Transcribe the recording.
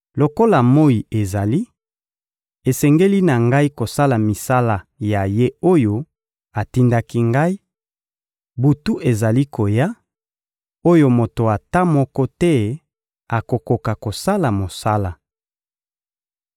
Lokola moyi ezali, esengeli na Ngai kosala misala ya Ye oyo atindaki Ngai; butu ezali koya, oyo moto ata moko te akokoka kosala mosala.